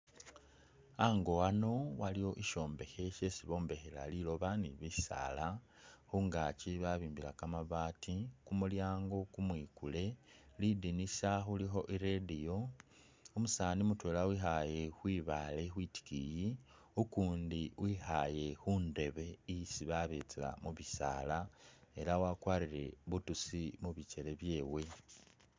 Ango wano waliwo sishombekhe shesi bombekhela liloba ne bisaala , khungaki babimbila kamabaati, kumulyango kumwikule, lidinisa khulikho i'radio, umusani mutwela wikhaaye khwibaale khwitikiyi, ukundi wikhaaye khundebe isi babetsela mubisaala ela wakwarire butusi mubikyele byewe.